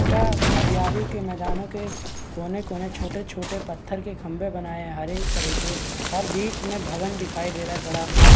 पता हरियाली के मैंदानों के कोने-कोने छोटे-छोटे पत्थर के खंभे बनाये हर एक तरह के और बीच में भवन दिखाई दे रहा है बड़ा-सा।